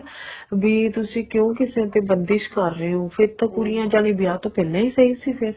ਵੀ ਤੁਸੀਂ ਕਿਉਂ ਕਿਸੇ ਤੇ ਬੰਦਿਸ਼ ਕਰ ਰਹੇ ਹੋ ਫ਼ੇਰ ਤਾਂ ਕੁੜੀਆਂ ਜਮੀ ਵਿਆਹ ਤੋ ਪਹਿਲਾਂ ਹੀ ਸਹੀ ਸੀ ਫ਼ੇਰ